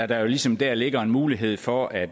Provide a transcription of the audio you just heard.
der jo ligesom der ligger en mulighed for at